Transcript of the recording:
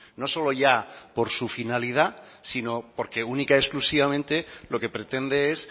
no solo ya por su finalidad sino porque única y exclusivamente lo que pretende es